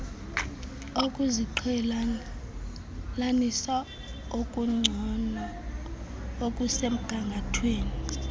ukuziqhelanisa okungcono okusemgangathweni